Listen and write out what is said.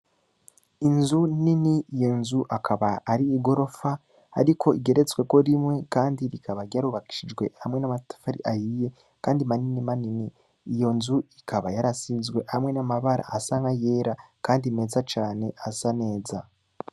Inzu nini, iyo nzu akaba ari igorofa, ariko igeretsweko rimwe, kandi rikaba ryarubakishijwe hamwe n’amatafari ahiye, kandi manini manini; iyo nzu ikaba yarasizwe hamwe n’amabara asa n’ayera, kandi meza cane asa neza.